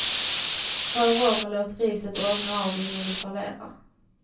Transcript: Rör om och låt riset ånga av innan du serverar.